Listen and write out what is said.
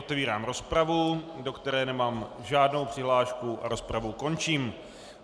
Otevírám rozpravu, do které nemám žádnou přihlášku a rozpravu končím.